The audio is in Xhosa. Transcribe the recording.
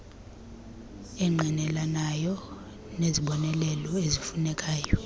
engqinelanayo nezibonelelo ezifunekayo